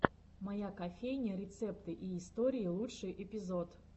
моя кофейня рецепты и истории лучший эпизод